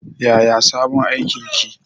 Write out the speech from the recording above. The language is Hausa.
Yaya sabon aikin ki?